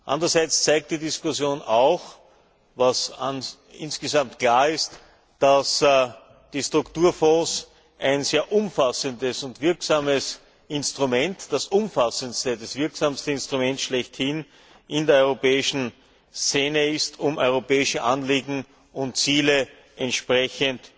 Andererseits zeigt die Diskussion auch, was insgesamt klar ist, dass die Strukturfonds ein sehr umfassendes und wirksames Instrument, das umfassendste, das wirksamste Instrument schlechthin in der europäischen Szene ist, um europäische Anliegen und Ziele entsprechend